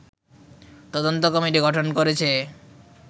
তদন্ত কমিটি গঠন করেছে